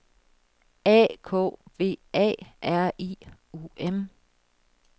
A K V A R I U M